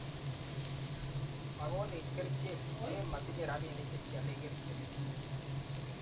makonech kerichek, len matinyei robinik che kiale kerichek.